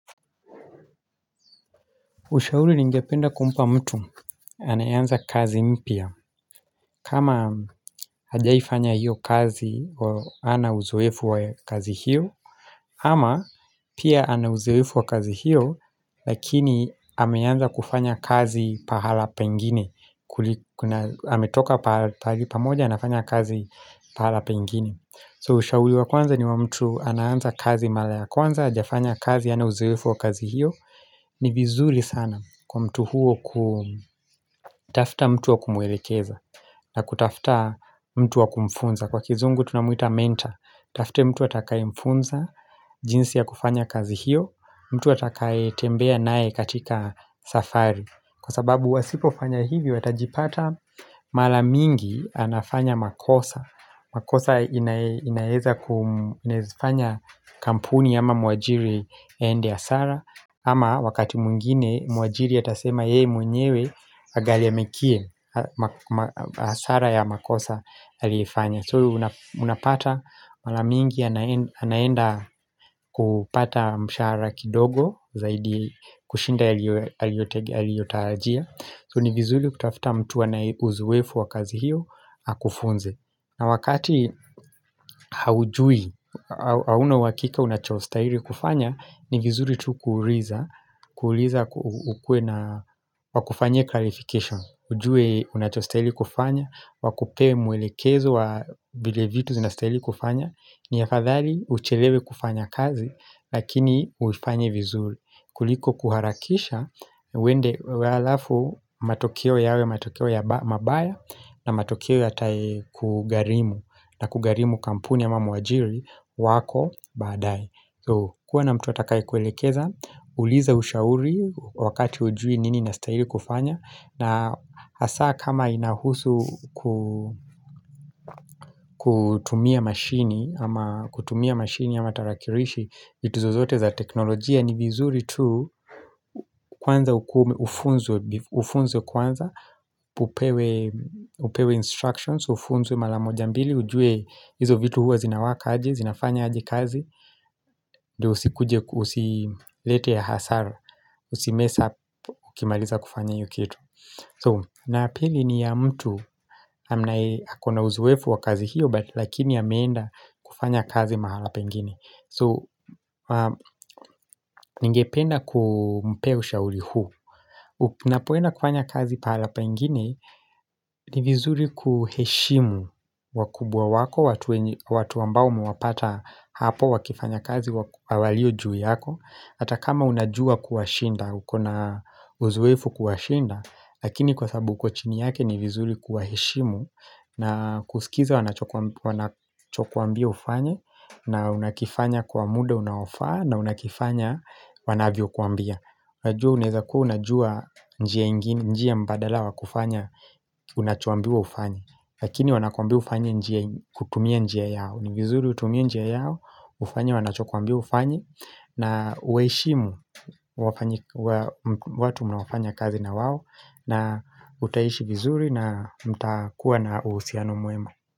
Ushauri ningependa kumpa mtu anayeanza kazi mpya kama hajaifanya hiyo kazi wa hana uzoefu wa kazi hiyo ama pia anauzuefu wa kazi hiyo Lakini ameanza kufanya kazi pahala pengine Kuli kuna ametoka pa pahali pamoja anafanya kazi pahala pengine So ushauri wa kwanza ni wa mtu anahaanza kazi mara ya kwanza hajafanya kazi hana uzoefu wa kazi hiyo ni vizuri sana kwa mtu huo kutafuta mtu wa kumwelekeza na kutafuta mtu wa kumfunza Kwa kizungu tunamuita mentor Tafute mtu atakayemfunza jinsi ya kufanya kazi hiyo mtu atakae tembea naye katika safari Kwa sababu wasipofanya hivi watajipata Mara mingi anafanya makosa makosa inaeza kuu inaezafanya kampuni ama mwajiri aende ya hasara ama wakati mwingine mwajiri atasema yeye mwenyewe agharamikie ma ma hasara ya makosa aliifanya So una unapata mara mingi ana anaenda kupata msharahara kidogo Zaidi kushinda aliyoaliyotarajia So ni vizuri kutafuta mtu anaye uzoefu wa kazi hiyo akufunze na wakati haujui hauna uhakika unachostahiri kufanya ni vizuri tu kuuliza kuuliza uku ukuwe na pakufanyia clarification ujue unachostahili kufanya Wakupee mwelekezo wa vile vitu zinastahili kufanya Niafadhali uchelewe kufanya kazi Lakini uifanye vizuri kuliko kuharakisha uende halafu matokeo yawe matokeo ya mabaya na matokeo yatae kugharimu na kugharimu kampuni ama mwajiri wako baadae kuwa na mtu atakaye kuelekeza, uliza ushauri wakati hujui nini inastahili kufanya na hasa kama inahusu kuu kutumia mashini ama kutumia mashini ama tarakirishi vitu zozote za teknolojia ni vizuri tu kwanza ukuwe ufunzwe be ufunzwe kwanza Upewe instructions, ufunzwe mara moja mbili ujue hizo vitu huwa zinawaka aje, zinafanya aje kazi ndio usikuje usilete hasara Usimess up ukimaliza kufanya hiyo kitu So na pili ni ya mtu Hamnaye akona uzowefu wa kazi hiyo But lakini ameenda kufanya kazi mahala pengine So ningependa kumpee shauri huu Unapoenda kufanya kazi pahala pengine ni vizuri kuheshimu wakubwa wako watu ambao muwepata hapo wakifanya kazi walio juu yako Hata kama unajua kuwa shinda, ukonaa uzoefu kuwashinda Lakini kwa sababu uko chini yake ni vizuri kuwa heshimu na kusikiza wanachokwambia ufanye na unakifanya kwa muda unaofaa na unakifanya wanavyokuambia Najua unaeza kuwa unajua njia ingine mbadala wa kufanya unachuambia ufanya Lakini wanakuambia ufanya njia kutumia njia yao ni vizuri utumia njia yao, ufanya wanachokwambia ufanye na uwaheshimu wafanyi watu unaofanya kazi na wao na utaishi vizuri na mtakuwa na uhusiano mwema.